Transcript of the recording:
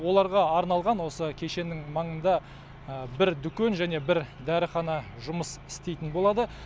оларға арналған осы кешеннің маңында бір дүкен және бір дәріхана жұмыс істейтін болады